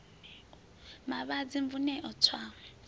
mavhadzi mvun eo u swa